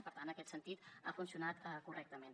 per tant en aquest sentit ha funcionat correctament